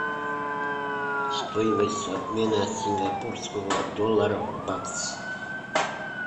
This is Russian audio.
стоимость обмена сингапурского доллара в бакс